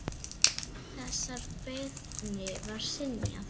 Þessari beiðni var synjað.